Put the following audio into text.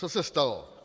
Co se stalo?